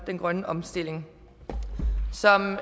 den grønne omstilling som